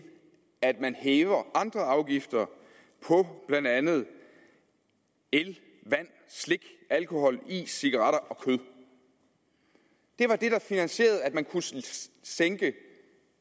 at man hævede andre afgifter på blandt andet el vand slik alkohol is cigaretter og kød det var det der finansierede at man kunne sænke